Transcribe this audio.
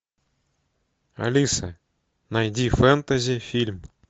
алиса найди фэнтези фильм